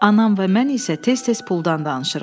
Anam və mən isə tez-tez puldan danışırıq.